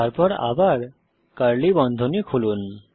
তারপর আবার কার্লি বন্ধনী খুলুন